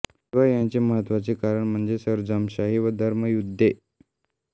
शिवाय ह्याचे महत्त्वाचे कारण म्हणजे सरंजामशाही व धर्मयुद्धे